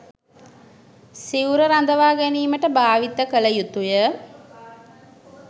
සිවුර රඳවා ගැනීමට භාවිත කළ යුතු ය.